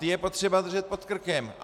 Ty je potřeba držet pod krkem.